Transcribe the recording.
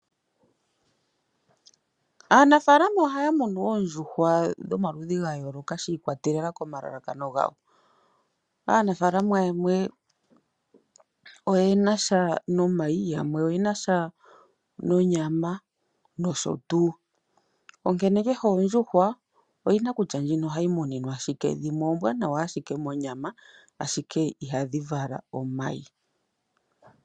Aanafaalama ohaya munu oondjuhwa dhomaludhi gayooloka shiikwatelela komalalakano gawo. Aanafaalama yamwe oye nasha nomayi, yamwe oyenasha nonyama nosho tuu. Onkene kehe oondjuhwa oyina kutya ndjino ohayi muninwa shike, dhimwe oombwanawa ashike monyama ashike ihadhi vala omayi.